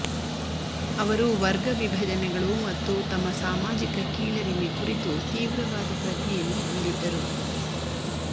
ಅವರು ವರ್ಗ ವಿಭಜನೆಗಳು ಮತ್ತು ತಮ್ಮ ಸಾಮಾಜಿಕ ಕೀಳರಿಮೆ ಕುರಿತು ತೀವ್ರವಾದ ಪ್ರಜ್ಞೆಯನ್ನು ಹೊಂದಿದ್ದರು